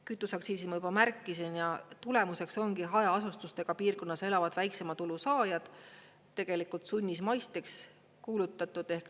Kütuseaktsiisi ma juba märkisin ja tulemuseks ongi hajaasustusega piirkonnas elavad väiksema tulu saajad sunnismaisteks kuulutatud .